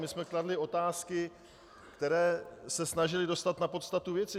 My jsme kladli otázky, které se snažily dostat na podstatu věci.